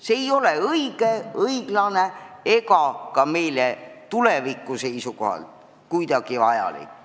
See ei ole õige, õiglane ega ka meile tuleviku seisukohalt kuidagi hea.